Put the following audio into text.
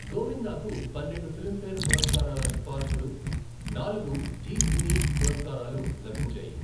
గోవిందా కు పన్నెండు ఫిల్మ్ఫేర్ పురస్కారాల సిఫార్సులు, నాలుగు జీ సినీ పురస్కారాలు లభించాయి.